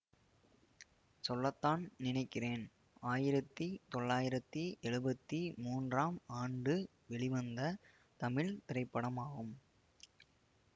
சொல்லத்தான் நினைக்கிறேன் ஆயிரத்தி தொளாயிரத்தி ஏழுபத்தி மூன்றாம் ஆண்டு வெளிவந்த தமிழ் திரைப்படமாகும்